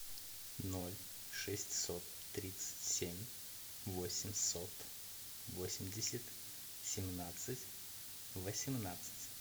ноль шестьсот тридцать семь восемьсот восемьдесят семнадцать восемнадцать